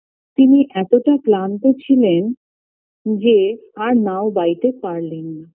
তিনি এতটা ক্লান্ত ছিলেন যে আর নাও বাইতে পারলেন না